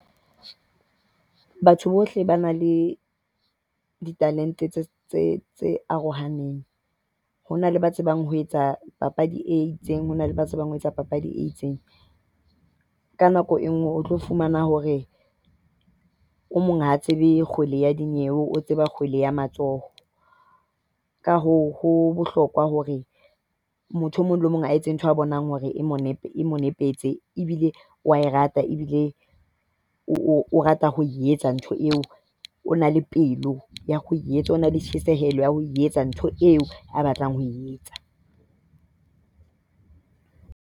Batho bohle ba na le ditalente tse tse tse arohaneng. Ho na le ba tsebang ho etsa papadi e itseng, ho na le ba tsebang ho etsa papadi e itseng. Ka nako e nngwe o tlo fumana hore o mong ha tsebe kgwedi ya dinyewe o tseba kgwedi ya matsoho. Ka hoo ho bohlokwa hore motho e mong le e mong a etse ntho a bonang hore e mo loketse, ebile o a e rata, o rata ho etsa ntho eo. O na le pelo ya ho e etsa. O na le tjhesehelo ya ho etsa ntho eo a batlang ho e etsa.